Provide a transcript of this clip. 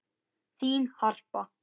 Þín, Harpa.